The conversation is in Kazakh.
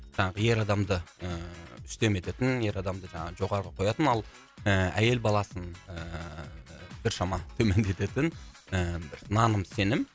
жаңағы ер адамды ыыы үстем ететін ер адамды жаңағы жоғары қоятын ал ы әйел баласын ыыы біршама төмендететін ы бір наным сенім